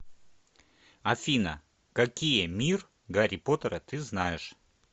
афина какие мир гарри поттера ты знаешь